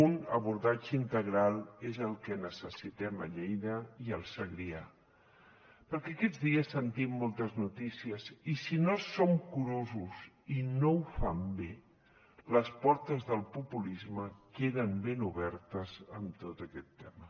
un abordatge integral és el que necessitem a lleida i al segrià perquè aquests dies sentim moltes notícies i si no som curosos i no ho fan bé les portes del populisme queden ben obertes amb tot aquest tema